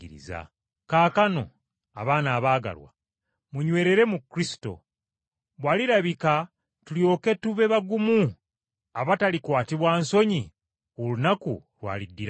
Kaakano, abaana abaagalwa, munywerere mu Kristo, bw’alirabika tulyoke tube bagumu abatalikwatibwa nsonyi ku lunaku lw’aliddirako.